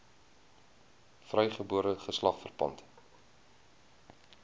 vrygebore geslag verpand